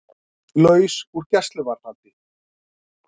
Laus úr gæsluvarðhaldi